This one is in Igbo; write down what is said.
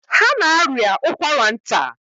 Ha na-arịa ụkwara nta.